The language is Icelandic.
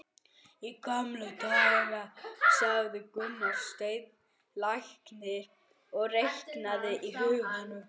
Í gamla daga, sagði Gunnsteinn læknir og reiknaði í huganum.